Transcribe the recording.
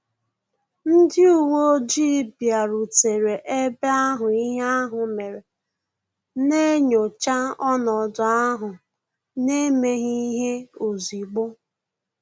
Ndị uwe ojii bịarutere eba ahụ ihe ahụ mere, na-enyocha ọnọdụ ahụ n'emeghi ihe ozigbo